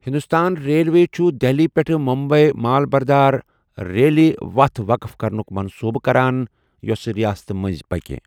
Hindustan railway چھُ دہلی پیٹھ ممبئی مال بردار ریلہِ وتھ وقٕف کرنُک منصوبہٕ کران یوٚس ریاستہٕ منٛزۍ پکہِ۔